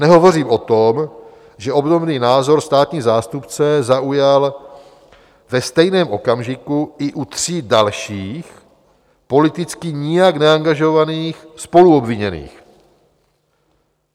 Nehovořím o tom, že obdobný názor státní zástupce zaujal ve stejném okamžiku i u tří dalších politicky nijak neangažovaných spoluobviněných.